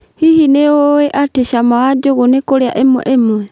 Hihi nĩ ũwĩ atĩ cama wa njugu nĩ kũrĩa ĩmwe ĩmwe